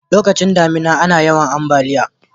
lokacin damina ana yawan ambaliya